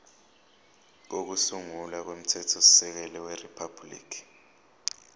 kokusungula komthethosisekelo weriphabhuliki